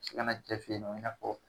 Se kana cɛ fe ye nɔ i n'a fɔ